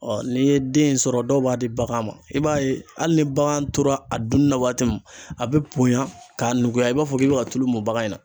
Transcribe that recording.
Ɔ n'i ye den sɔrɔ dɔw b'a di bagan ma, i b'a ye hali ni bagan tora a dunni na waati min a bɛ bonya k'a nuguya i b'a fɔ k'i bɛ ka tulu mun bagan in na.